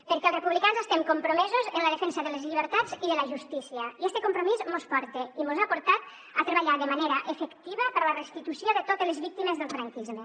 perquè els republicans estem compromesos amb la defensa de les llibertats i de la justícia i este compromís mos porta i mos ha portat a treballar de manera efectiva per la restitució de totes les víctimes del franquisme